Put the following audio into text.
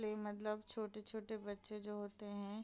play मतलब छोटे-छोटे बच्चे जो होते हैं --